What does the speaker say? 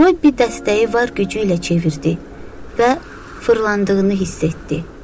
Robbi dəstəyi var gücü ilə çevirdi və fırlandığını hiss etdi.